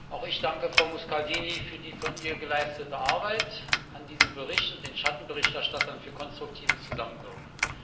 Auch ich danke Frau Muscardini für die von ihr geleistete Arbeit an diesem Bericht und den Schattenberichterstattern für konstruktives Zusammenwirken.